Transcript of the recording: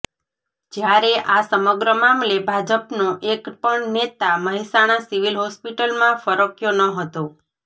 જ્યારે આ સમગ્ર મામલે ભાજપનો એક પણ નેતા મહેસાણા સિવિલ હોસ્પિટલમાં ફરક્યો ન હતો